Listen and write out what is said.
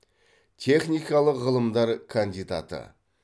техникалық ғылымдар кандидаты